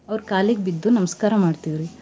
ಅವ್ರ ಕಾಲಿಗ್ ಬಿದ್ದು ನಮಸ್ಕಾರ ಮಾಡ್ತಿವ್ ರಿ.